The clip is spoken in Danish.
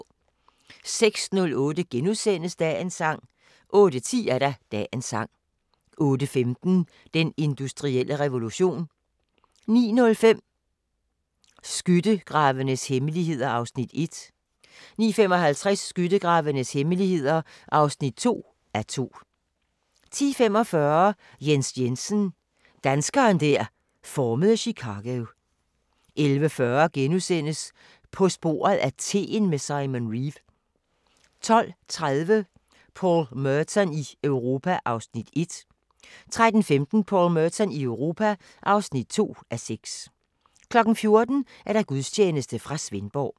06:08: Dagens sang * 08:10: Dagens sang 08:15: Den industrielle revolution 09:05: Skyttegravenes hemmeligheder (1:2) 09:55: Skyttegravenes hemmeligheder (2:2) 10:45: Jens Jensen - danskeren der formede Chicago 11:40: På sporet af teen med Simon Reeve * 12:30: Paul Merton i Europa (1:6) 13:15: Paul Merton i Europa (2:6) 14:00: Gudstjeneste fra Svendborg